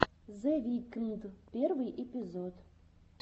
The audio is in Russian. зе викнд первый эпизод